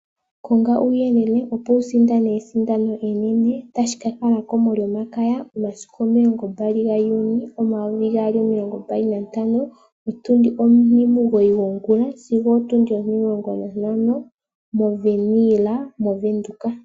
Konga uuyelele opo wukiisindanene esindano enene otashi kakalako molyomakaya momasiku 21 June 2025, otundi omugoyi gwongula sigo opo tundi ontimulongo nantano moWernhill moVenduka.